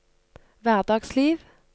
hverdagsliv